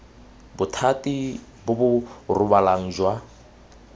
bothati bo bo rebolang jwa